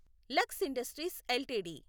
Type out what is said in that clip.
Lux Industries LTD